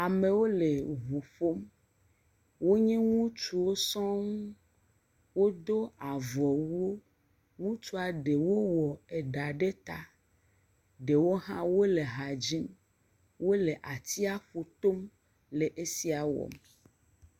Amewo le ŋu ƒom. Wonye ŋutsuwo sɔŋ. Wodo avɔ wu. Ŋutsua ɖewo wɔ ɖa eɖe ta. Ɖewo hã wole ha dzim. Wole atsiaƒu tom le esia wɔm.